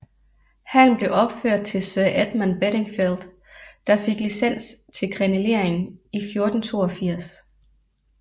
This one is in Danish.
Hallen blev opført til Sir Edmund Bedingfeld der fik licens til krenelering i 1482